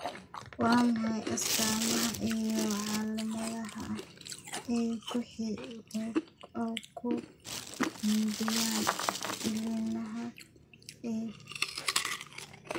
Waa maxay astaamaha iyo calaamadaha X ee ku xidhan cillada lymfoproliferativeka?